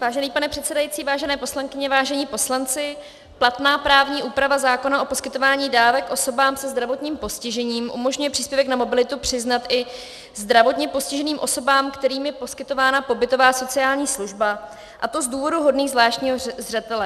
Vážený pane předsedající, vážené poslankyně, vážení poslanci, platná právní úprava zákona o poskytování dávek osobám se zdravotním postižením umožňuje příspěvek na mobilitu přiznat i zdravotně postiženým osobám, kterým je poskytována pobytová sociální služba, a to z důvodů hodných zvláštního zřetele.